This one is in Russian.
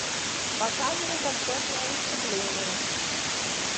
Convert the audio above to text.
показывай концертное выступление